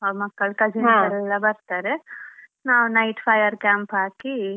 ಅವ್ರು ಮಕ್ಕಳು cousins ಎಲ್ಲಾ ಬರ್ತಾರೆ ನಾವ್ night fire camp ಹಾಕಿ.